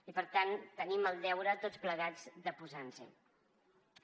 i per tant tenim el deure tots plegats de posar nos hi